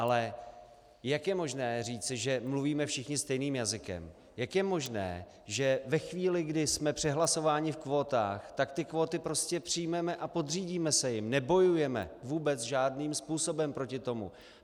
Ale jak je možné říci, že mluvíme všichni stejným jazykem, jak je možné, že ve chvíli, kdy jsme přehlasováni v kvótách, tak ty kvóty prostě přijmeme a podřídíme se jim, nebojujeme vůbec žádným způsobem proti tomu?